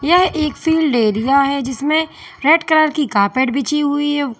यह एक field area है जिसमें रेड कलर की कारपेट बिछी हुई है कुछ--